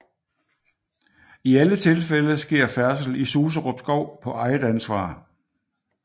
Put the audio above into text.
I alle tilfælde sker færdsel i Suserup Skov på eget ansvar